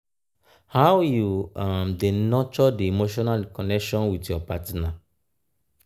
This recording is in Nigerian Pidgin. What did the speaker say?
how you um dey nurture di emotional connection with your partner? um